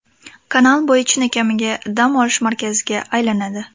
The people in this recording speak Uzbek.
Kanal bo‘yi chinakamiga dam olish markaziga aylanadi.